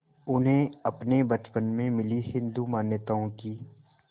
उन्हें अपने बचपन में मिली हिंदू मान्यताओं की